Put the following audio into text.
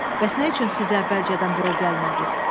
Bəs nə üçün siz əvvəlcədən bura gəlmədiniz?